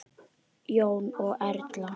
Jón og Erla.